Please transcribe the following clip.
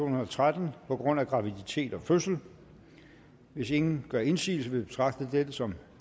og tretten på grund af graviditet og fødsel hvis ingen gør indsigelse vil jeg betragte det som